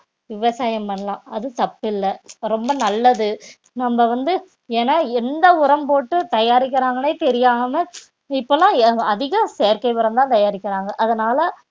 விவசாயம் பண்ணலாம் அது தப்பு இல்ல ரொம்ப நல்லது நம்ம வந்து ஏன்னா எந்த உரம் போட்டு தயாரிக்கிறாங்கன்னே தெரியாம இப்போ எல்லாம் எ~ அதிக செயற்கை உரம்தான் தயாரிக்கிறாங்க அதனால